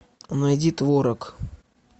найди творог